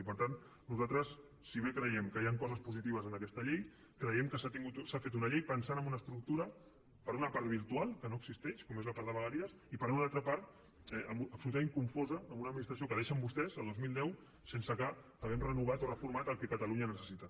i per tant nosaltres si bé creiem que hi han coses positives en aquesta llei creiem que s’ha fet una llei pensant en una estructura per una part virtual que no existeix com és la part de vegueries i per una altra part absolutament confosa amb una administració que deixen vostès a dos mil deu sense que hàgim renovat o reformat el que catalunya necessita